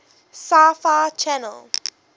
sci fi channel